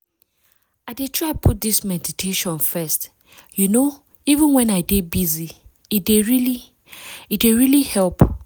i dey try put this meditation first you know even when i dey busy- e dey really e dey really help.